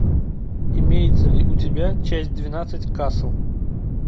имеется ли у тебя часть двенадцать касл